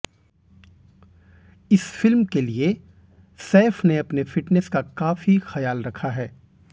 इस फिल्म के लिए सैफ ने अपने फिटनेस का काफी ख्याल रखा है